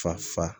Fa fa